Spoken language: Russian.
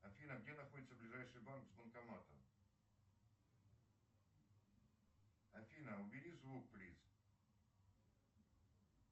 афина где находится ближайший банк с банкоматом афина убери звук плиз